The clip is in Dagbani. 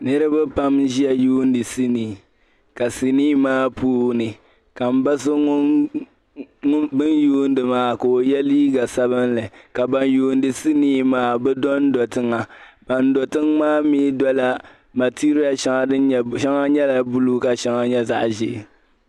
Niribi pam n-Ʒiya yuuni sinii ka sinii maa puuni, ka mba so bin yuundi maa, ka o yɛ liiga sabinli. Ka ban yuundi sinii maa bi don-do tiŋa. Ban do tiŋ maa mi dola material shɛŋa din nyɛ...shɛŋa nyɛla blue ka shɛŋa nyɛ zaɣi ʒee.